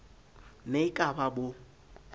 ne e ka ba bo